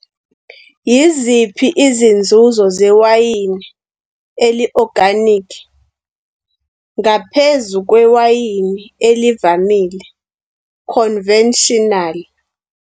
Yiziphi izinzuzo zewayini eli-organic ngaphezu kwewayini elivamile, conventional?